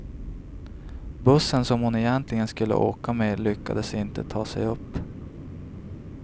Bussen som hon egentligen skulle åka med lyckades inte ta sig upp.